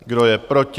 Kdo je proti?